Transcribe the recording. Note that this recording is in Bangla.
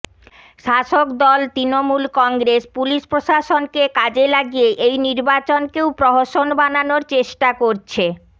শাসকদল তৃণমূল কংগ্রেস পুলিশ প্রশাসনকে কাজে লাগিয়ে এই নির্বাচনকেও প্রহসন বানানোর চেষ্টা করছে